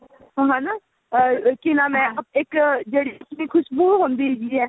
ਹੈਨਾ ਕੀ ਨਾਮ ਹੈ ਇੱਕ ਜਿਹੜੀ ਆਪਣੀ ਖੁਸ਼ਬੂ ਹੁੰਦੀ ਹੈਗੀ ਏ